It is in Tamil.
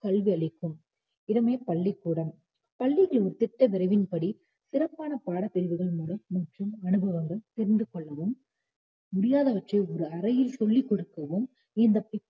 கல்வி அளிக்கும் இடமே பள்ளிக்கூடம் பள்ளிகள் ஒரு திட்ட வரைவின்படி சிறப்பான பாடப்பிரிவுகள் மூலம் மற்றும் அனுபங்கள் தெரிந்துகொள்ளவும் முடியாதவற்றை ஒரு அறையில் சொல்லி கொடுக்கவும் இந்த